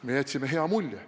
Me jätsime hea mulje.